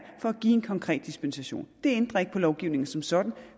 for at give en konkret dispensation det ændrer ikke på lovgivningen som sådan